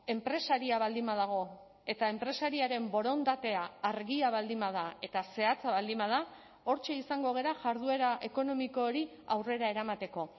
enpresaria baldin badago eta enpresariaren borondatea argia baldin bada eta zehatza baldin bada hortxe izango gara jarduera ekonomiko hori aurrera eramateko